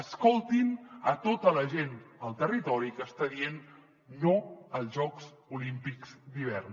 escoltin a tota la gent al territori que està dient no als jocs olímpics d’hivern